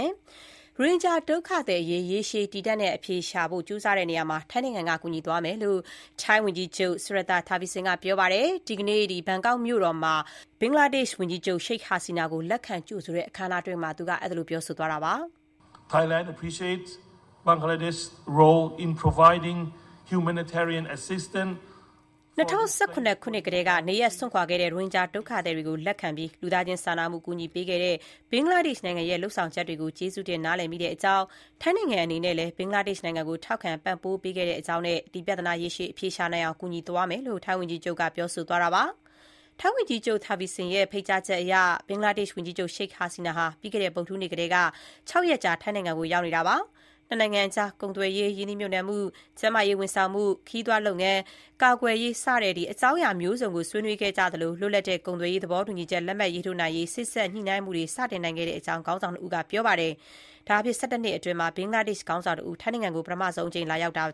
င်ဂျာ ဒုက္ခသည်အရေး ရေရှည် တည်တန့်တဲ့ အဖြေရှာ နိုင်အောင် ထိုင်းနိုင်ငံက ကူညီသွားမယ်လို့ ထိုင်းဝန်ကြီးချုပ် Srettha Thavisin က ပြောပါတယ်။ ဒီကနေ့ ဘန်ကောက်မြို့မှာ ဘင်္ဂလားဒေ့ရှ်နိုင်ငံ ဝန်ကြီးချုပ် Sheikh Hasina ကို လက်ခံကြိုဆိုတဲ့ အခမ်းအနားမှာ အခုလို ပြောဆိုသွားတာပါ။ ၂၀၁၇ ခုနှစ်ကတည်းက နေရပ်စွန့်ခွာခဲ့တဲ့ ရိုဟင်ဂျာ ဒုက္ခသည်တွေကို လက်ခံပြီး လူသားချင်းစာနာမှု အကူအညီပေးခဲ့တဲ့ ဘင်္ဂလားဒေ့ရှ်နိုင်ငံရဲ့ လုပ်ဆောင်ချက်တွေကို ကျေးဇူးတင် နားလည်မိတဲ့အကြောင်း၊ ထိုင်းနိုင်ငံအနေနဲ့လည်း ဘင်္ဂလားဒေ့ရှ် နိုင်ငံကို ထောက်ခံ ပံ့ပိုးခဲ့တဲ့အကြောင်းနဲ့ ဒီပြဿနာ ရေရှည် အဖြေရှာနိုင်အောင် ကူညီသွားမယ့်အကြောင်း ထိုင်းဝန်ကြီးချုပ် Srettha Thavisin က ပြောဆိုသွားပါတယ်။ ထိုင်းဝန်ကြီးချုပ် Srettha Thavisin ရဲ့ ဖိတ်ကြားချက်အရ ဘင်္ဂလားဒေ့ရှ်ဝန်ကြီးချုပ် Sheikh Hasina ဟာ ပြီးခဲ့တဲ့ ဗုဒ္ဓဟူးနေ့ ကတည်းက ၆ ရက်ကြာ ထိုင်းနိုင်ငံကို ရောက်ရှိနေတာပါ။ နှစ်နိုင်ငံအကြား ကုန်သွယ်ရေး၊ ရင်းနှီးမြှုပ်နှံမှု၊ ကျန်းမာရေး ဝန်ဆောင်မှု၊ ခရီးသွားလုပ်ငန်း၊ ကာကွယ်ရေး စတဲ့ အကြောင်းအရာ မျိုးစုံကို ဆွေးနွေးခဲ့ကြသလို၊ လွတ်လပ်တဲ့ ကုန်သွယ်ရေး သဘောတူညီချက် လက်မှတ်ရေးထိုးနိုင်ရေး စေ့စပ်ညှိနှိုင်းမှုတွေ စတင်နိုင်ခဲ့တဲ့အကြောင်း ခေါင်းဆောင်နှစ်ဦးက ပြောပါတယ်။ ၁၁ နှစ်အတွင်း ဘင်္ဂလားဒေ့ရှ် ခေါင်းဆောင်တဦး ထိုင်းနိုင်ငံကို ပထမဆုံး အကြိမ် လာရောက်တာ